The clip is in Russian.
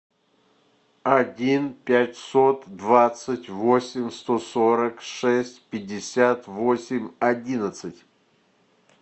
один пятьсот двадцать восемь сто сорок шесть пятьдесят восемь одиннадцать